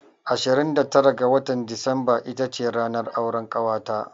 Ashirin da tara ga watan Disamba ita ce ranar auran ƙawata.